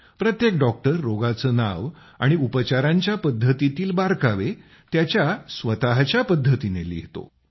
प्रत्येक डॉक्टर रोगाचे नाव आणि उपचारांच्या पद्धतीतील बारकावे त्याच्या स्वत च्या पद्धतीने लिहितो